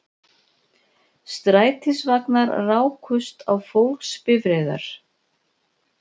Strætisvagnar rákust á fólksbifreiðar